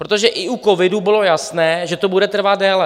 Protože i u covidu bylo jasné, že to bude trvat déle.